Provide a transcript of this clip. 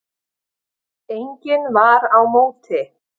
Enginn var á móti.